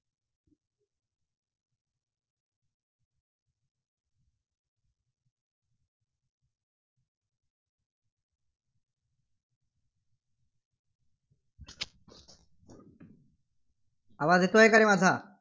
आवाज येतोय का रे माझा?